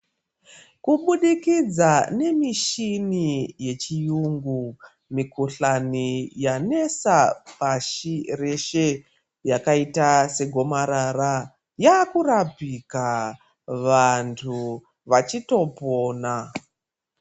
Kubudikidza nemishini yechiyungu, mikuhlani yanesa pashi reshe, yakayita segomarara, yakurapika vantu vachitopona.